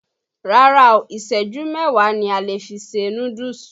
Rárá o, ìṣẹ́jú mẹ́wáà ni a lè fi se núdúùsù.